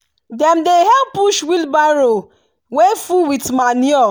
dem dey help push wheelbarrow wey full with manure.